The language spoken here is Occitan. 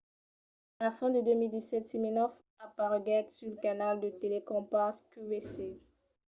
a la fin de 2017 siminoff apareguèt sul canal de telecrompas qvc